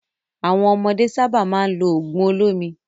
Àwọn ọmọdé sábà máa ń lo òògùn olómi.